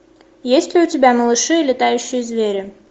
есть ли у тебя малыши и летающие звери